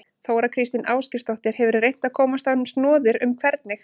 Þóra Kristín Ásgeirsdóttir: Hefurðu reynt að komast á snoðir um hvernig?